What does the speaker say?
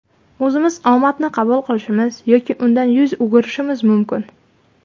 O‘zimiz omadni qabul qilishimiz, yoki undan yuz o‘girishimiz mumkin.